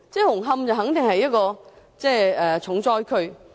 紅磡本身固然是一個重災區。